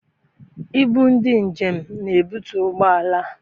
Ibu ndị njem n'ebutu ụgbọala a.